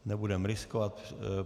Nebudeme riskovat.